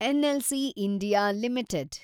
NLC India limited